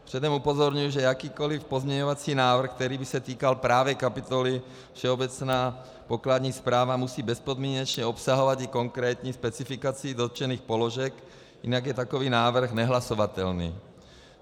Předem upozorňuji, že jakýkoli pozměňovací návrh, který by se týkal právě kapitoly Všeobecná pokladní správa, musí bezpodmínečně obsahovat i konkrétní specifikaci dotčených položek, jinak je takový návrh nehlasovatelný.